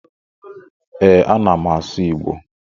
E, ana m asụ Igbo